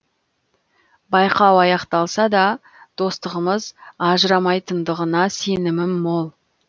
байқау аяқталса да достығымыз ажырамайтындығына сенімім мол